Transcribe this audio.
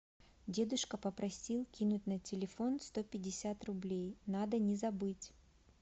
дедушка попросил кинуть на телефон сто пятьдесят рублей надо не забыть